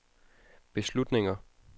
beslutninger